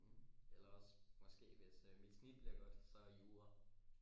Mhm eller også måske hvis mit øh snit bliver godt så jura